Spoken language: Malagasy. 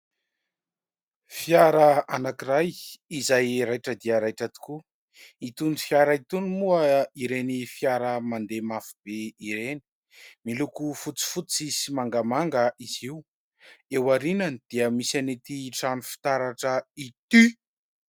Fiara anankiray izay raitra dia raitra tokoa. Itony fiara itony moa ireny fiara mandeha mafy be ireny. Miloko fotsifotsy sy mangamanga izy io ; eo aoriany dia misy an'ity trano fitaratra ity.